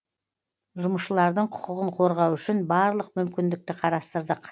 жұмысшылардың құқығын қорғау үшін барлық мүмкіндікті қарастырдық